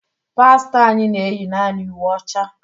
Pastọ anyị na eyi naanị uwe ọcha.